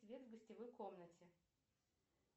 свет в гостевой комнате